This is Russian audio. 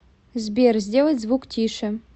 сбер сделать звук тише